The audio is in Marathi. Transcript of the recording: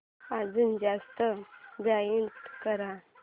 अजून जास्त ब्राईट कर